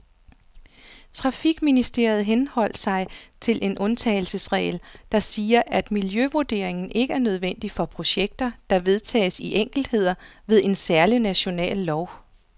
Trafikministeriet henholdt sig til en undtagelsesregel, der siger, at miljøvurderingen ikke er nødvendig for projekter, der vedtages i enkeltheder ved en særlig national lov.